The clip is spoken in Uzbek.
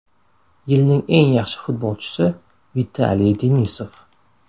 Yilning eng yaxshi futbolchisi Vitaliy Denisov.